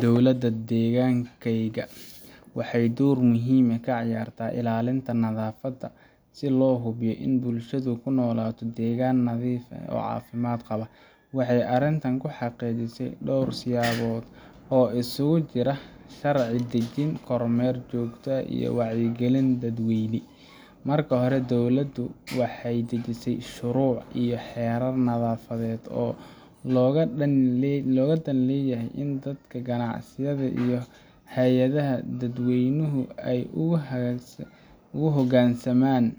Dowladda deegaanka waxay door muhiim ah ka ciyaartaa ilaalinta nadaafadda si loo hubiyo in bulshadu ku noolaato deegaan nadiif ah oo caafimaad qaba. Waxay arrintan ku xaqiijisaa dhowr siyaabood oo isugu jira sharci dejin, kormeer joogto ah, iyo wacyigelin dadweyne. Marka hore, dowladdu waxay dejisay shuruuc iyo xeerar nadaafadeed oo looga dan leeyahay in dadka, ganacsiyada, iyo hay'adaha dadweynuhu u hoggaansamaan